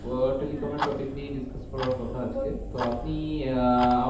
আহ telecom এর topic নিয়েই discuss করার কথা আছে তো আপনি আহ